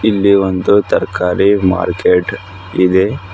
ಇಲ್ಲಿ ಒಂದು ತರ್ಕಾರಿ ಮಾರ್ಕೆಟ್ ಇದೆ.